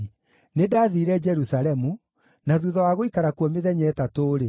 Nĩndathiire Jerusalemu, na thuutha wa gũikara kuo mĩthenya ĩtatũ-rĩ,